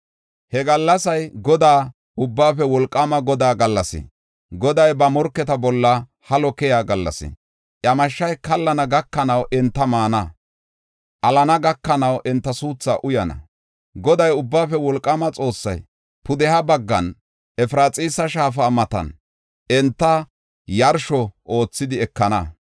He gallasay Godaa Ubbaafe Wolqaama Godaa gallas, Goday ba morketa bolla halo keyiya gallas. Iya mashshay kallana gakanaw enta maana; alana gakanaw enta suuthaa uyana. Goday, Ubbaafe Wolqaama Xoossay, pudeha baggan Efraxiisa shaafa matan, enta yarsho oothidi ekana.